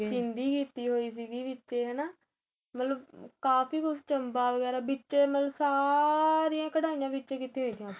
ਸਿੰਧੀ ਕੀਤੀ ਹੋਈ ਸੀ ਵਿਚੇ ਹੈਣਾ ਮਤਲਬ ਕਾਫ਼ੀ ਕੁੱਝ ਚੰਬਾ ਵਗੇਰਾ ਵਿਛੇ ਮਤਲਬ ਸਾਰੀਆਂ ਕੱਢਾਈਆ ਵਿਚੇ ਕੀਤੀਆ ਹੋਈਆ